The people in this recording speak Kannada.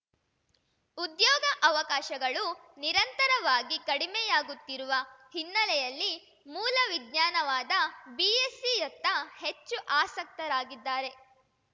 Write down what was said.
ಉದ್ಯೋಗ ಅವಕಾಶಗಳು ನಿರಂತರವಾಗಿ ಕಡಿಮೆಯಾಗುತ್ತಿರುವ ಹಿನ್ನೆಲೆಯಲ್ಲಿ ಮೂಲ ವಿಜ್ಞಾನವಾದ ಬಿಎಸ್‌ಸಿಯತ್ತ ಹೆಚ್ಚು ಆಸಕ್ತರಾಗಿದ್ದಾರೆ